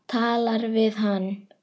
Talar við hann.